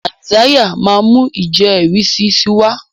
Isaiah má mú ijẹrisi sí wá.